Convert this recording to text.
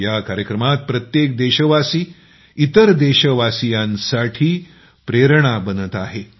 या कार्यक्रमात प्रत्येक देशवासी इतर देशवासीयांसाठी प्रेरणा बनत आहे